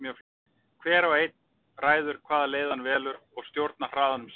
Hver og einn ræður hvaða leið hann velur og stjórnar hraðanum sjálfur.